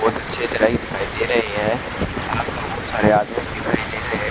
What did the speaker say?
बोहत अछि तरह दिखाई दे रहे है यहां पे बहोत सारे आदमी दिखाई दे रहे है।